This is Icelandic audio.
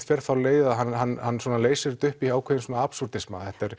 fer þá leið að hann leysir þetta upp í svona